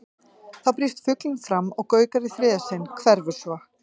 Þá brýst fuglinn fram og gaukar í þriðja sinn, hverfur svo.